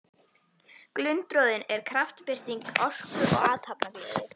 Glundroðinn er kraftbirting orku og athafnagleði.